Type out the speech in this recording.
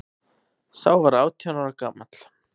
Sá var átján ára gamall